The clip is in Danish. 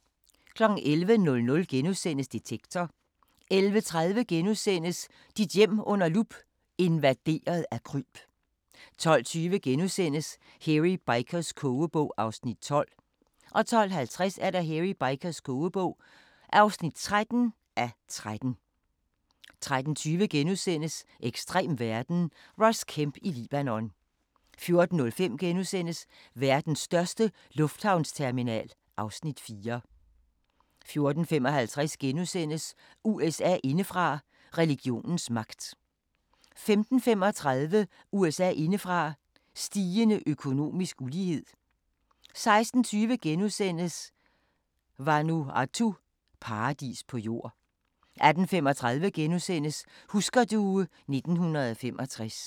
11:00: Detektor * 11:30: Dit hjem under lup – invaderet af kryb * 12:20: Hairy Bikers kogebog (12:13)* 12:50: Hairy Bikers kogebog (13:13) 13:20: Ekstrem verden – Ross Kemp i Libanon * 14:05: Verdens største lufthavnsterminal (Afs. 4)* 14:55: USA indefra: Religionens magt * 15:35: USA indefra: Stigende økonomisk ulighed 16:20: Vanuatu – paradis på jord * 18:35: Husker du ... 1965 *